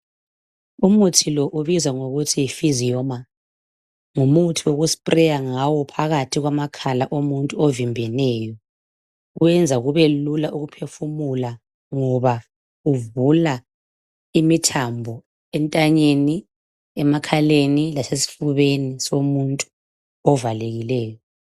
Umuthi lo ubizwa ngokuthi yiPhysiomer. Ngumuthi wokuthontisela ngawo phakathi kwamakhala avimbeneyo. Kuyenza kubelula ukuphefumula ngoba kuvula imithambo entanyeni, emakhaleni lasesifubeni somuntu ovimbeneyo.